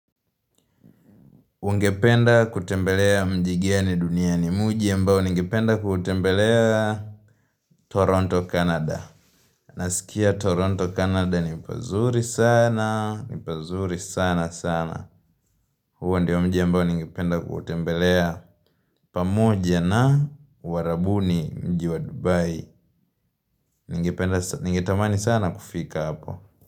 Ungependa kutembelea mji gani duniani mji embao ningependa kutembelea Toronto, Canada. Nasikia Toronto, Canada ni pazuri sana, ni pazuri sana sana. Huu ndiyo mji embao ningependa kutembelea pamoja na uharabuni mji wa Dubai. Ningetamani sana kufika hapo.